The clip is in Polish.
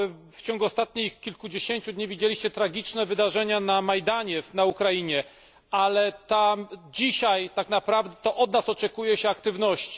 W ciągu ostatnich kilkudziesięciu dni widzieliście tragiczne wydarzenia na Majdanie na Ukrainie, ale dzisiaj tak naprawdę to od nas oczekuje się aktywności.